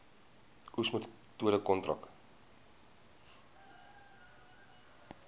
oes metode kontrak